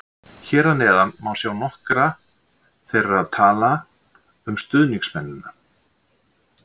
Hér að neðan má sjá nokkra þeirra tala um stuðningsmennina.